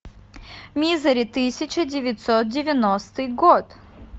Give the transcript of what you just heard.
мизери тысяча девятьсот девяностый год